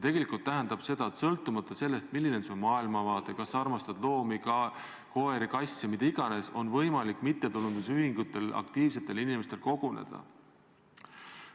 See tähendab, et sõltumata sellest, milline on su maailmavaade, kas sa armastad loomi, koeri, kasse, mida iganes, on võimalik mittetulundusühingutel ja aktiivsetel inimestel seal koguneda.